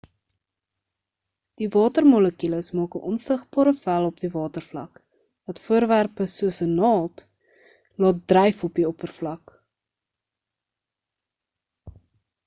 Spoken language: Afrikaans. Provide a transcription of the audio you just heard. die watermolekules maak 'n onsigbare vel op die watervlak wat voorwerpe soos 'n naald laat dryf op die oppervlak